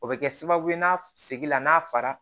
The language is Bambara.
O bɛ kɛ sababu ye n'a segin la n'a fara